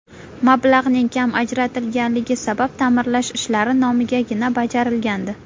Mablag‘ning kam ajratilganligi sabab ta’mirlash ishlari nomigagina bajarilgandi.